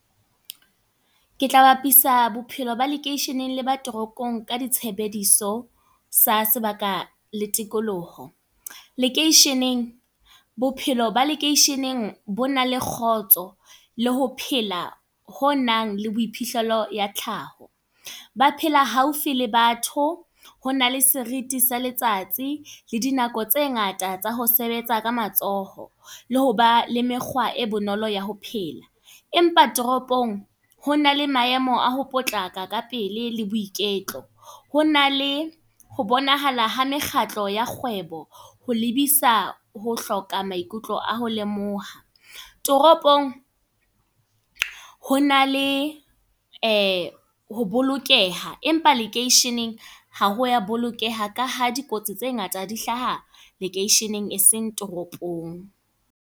Ke tla bapisa bophelo ba lekeisheneng le ba toronkong, ka di tshebediso sa sebaka le tikoloho. Lekeisheneng, bophelo ba lekeisheneng bona le kgotso. Le ho phela ho nang le boiphihlelo ya tlhaho. Ba phela haufi le batho. Ho na le seriti sa letsatsi, le dinako tse ngata tsa ho sebetsa ka matsoho. Le hoba le mekgwa e bonolo ya ho phela. Empa toropong ho na le maemo a ho potlaka ka pele le boiketlo. Ho na le, ho bonahala ha mekgatlo ya kgwebo, ho lebisa ho hloka maikutlo a ho lemoha. Toropong, ho na le ho bolokeha. Empa lekeisheneng ha wa bolokeha ka ha dikotsi tse ngata di hlaha lekeisheneng e seng toropong.